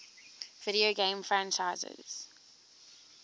video game franchises